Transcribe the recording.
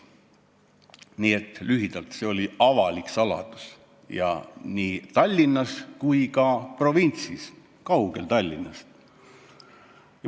Nii et lühidalt: see oli avalik saladus ja seda nii Tallinnas kui ka provintsis, kaugel Tallinnast.